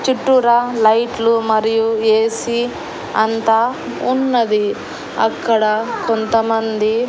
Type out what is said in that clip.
చుట్టూర లైట్లు మరియు ఏ_సీ అంతా ఉన్నది అక్కడ కొంతమంది.